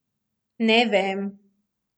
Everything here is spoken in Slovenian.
Ne vem.